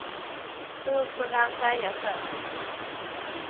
Hur kunde han säga så?